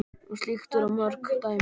Um slíkt eru mörg dæmi.